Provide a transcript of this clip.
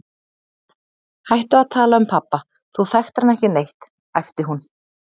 Hættu að tala um pabba, þú þekktir hann ekki neitt, æpti hún.